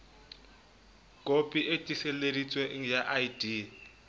kopi e tiiseleditsweng ya id